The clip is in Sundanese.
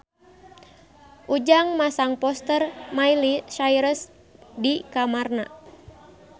Ujang masang poster Miley Cyrus di kamarna